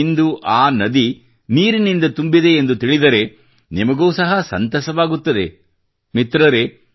ಇಂದು ಆ ನದಿ ನೀರಿನಿಂದ ತುಂಬಿದೆ ಎಂದು ತಿಳಿದರೆ ನಿಮಗೂ ಸಹ ಸಂತಸವಾಗುತ್ತದೆ ಮಿತ್ರರೇ